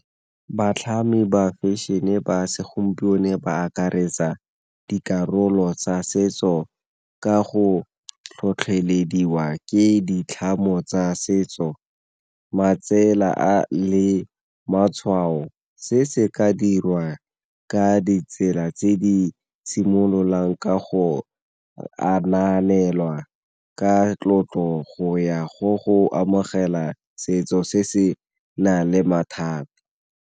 Batlhami ba fashion-e ba segompieno ba akaretsa dikarolo tsa setso ka go tlhotlhelediwa ke ditlhamo tsa setso, matsela a le matshwao. Se se ka dirwa ka ditsela tse di simololang ka go anaanelwa ka tlotlo go ya go go amogela setso se se nang le mathata.